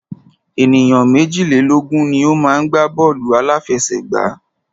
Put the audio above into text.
Ènìyàn méjìlélógun ni o má ń gbá bọ́ọ̀lù àláfẹsẹ̀gbá.